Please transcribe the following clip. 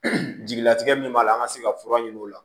jigilatigɛ min b'a la an ka se ka fura ɲini o la